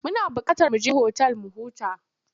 Muna buƙatar mu je otal mu huta.